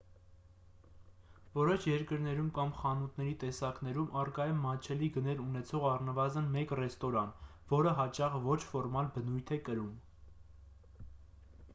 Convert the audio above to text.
որոշ երկրներում կամ խանութների տեսակներում առկա է մատչելի գներ ունեցող առնվազն մեկ ռեստորան որը հաճախ ոչ ֆորմալ բնույթ է կրում